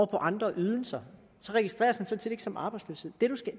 på andre ydelser så registreres det sådan set ikke som arbejdsløshed